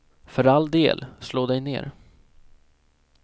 För all del, slå dig ner.